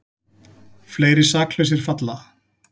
Fleiri saklausir falla